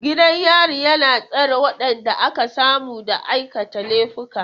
Gidan yari na tsare waɗanda aka samu da aikata laifuka.